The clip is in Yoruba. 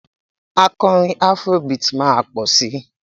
Akọrin afro beat máa tó pọ̀ si